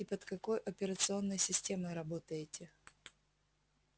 и под какой операционной системой работаете